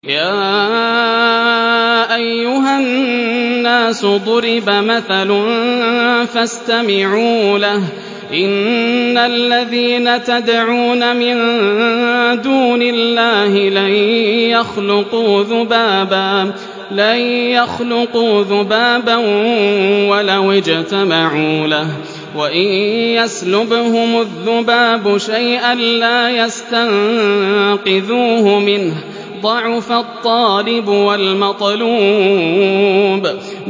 يَا أَيُّهَا النَّاسُ ضُرِبَ مَثَلٌ فَاسْتَمِعُوا لَهُ ۚ إِنَّ الَّذِينَ تَدْعُونَ مِن دُونِ اللَّهِ لَن يَخْلُقُوا ذُبَابًا وَلَوِ اجْتَمَعُوا لَهُ ۖ وَإِن يَسْلُبْهُمُ الذُّبَابُ شَيْئًا لَّا يَسْتَنقِذُوهُ مِنْهُ ۚ ضَعُفَ الطَّالِبُ وَالْمَطْلُوبُ